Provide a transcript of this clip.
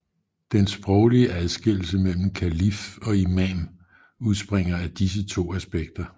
Den sproglige adskillelse mellem kalif og imam udspringer af disse to aspekter